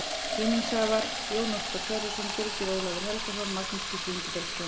Vinningshafar: Jón Óskar Sverrisson Birgir Ólafur Helgason Magnús Gísli Ingibergsson